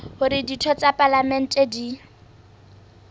hore ditho tsa palamente di